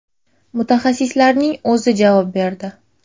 Mutaxassisning o‘zi javob berdi.